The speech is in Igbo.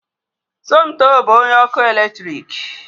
Somoto bụ onye ọkụ eletrik